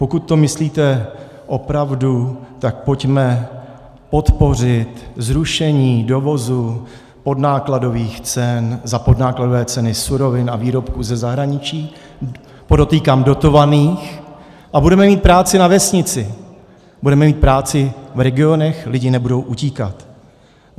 Pokud to myslíte opravdu, tak pojďme podpořit zrušení dovozu podnákladových cen (?) za podnákladové ceny surovin a výrobků ze zahraničí, podotýkám dotovaných, a budeme mít práci na vesnici, budeme mít práci v regionech, lidi nebudou utíkat.